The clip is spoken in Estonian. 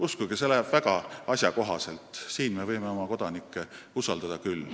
Uskuge, see raha läheb neile väga asjakohaselt, me võime siin oma kodanikke usaldada küll.